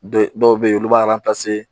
Dɔw bɛ yen olu b'a